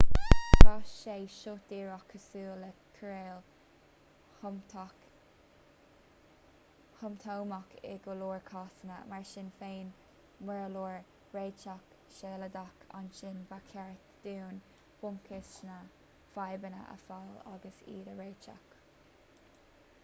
tá sé seo díreach cosúil le cóireáil shomptómach in go leor cásanna mar sin féin mura leor réiteach sealadach ansin ba cheart dúinn bunchúis na bhfadhbanna a fháil agus iad a réiteach